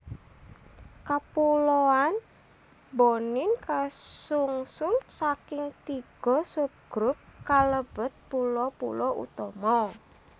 Kapuloan Bonin kasungsun saking tiga subgrup kalebet pulo pulo utama